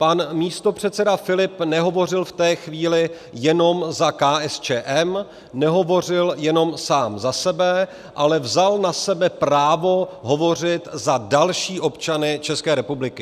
Pan místopředseda Filip nehovořil v té chvíli jenom za KSČM, nehovořil jenom sám za sebe, ale vzal na sebe právo hovořit za další občany České republiky.